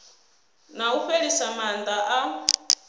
na u fhelisa maana a